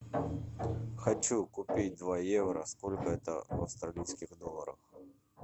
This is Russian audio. хочу купить два евро сколько это в австралийских долларах